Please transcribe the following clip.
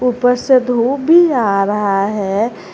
ऊपर से धूप भी आ रहा है।